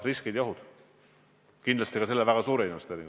Tuleb otsustada viimase info põhjal, mida on võimalik teha.